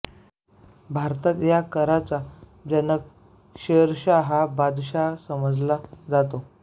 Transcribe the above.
भारतात या कराचा जनक शेरशहा हा बादशहा समजल्या जातो